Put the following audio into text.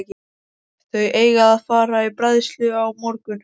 Þau eiga að fara í bræðslu á morgun.